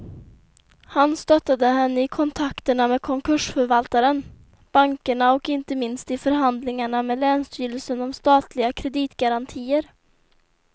Han stöttade henne i kontakterna med konkursförvaltaren, bankerna och inte minst i förhandlingarna med länsstyrelsen om statliga kreditgarantier.